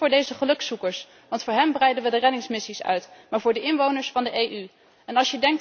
Niet voor deze gelukszoekers, want voor hen breiden we de reddingsmissies uit, maar voor de inwoners van de Europese Unie.